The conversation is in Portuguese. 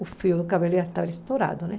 O fio do cabelo já estava estourado, né?